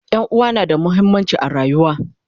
ƴan'uwa na da muhimmanci a rayuwa